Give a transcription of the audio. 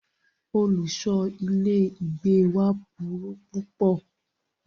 Olùṣọ ilé ìgbé wa burú púpọ̀.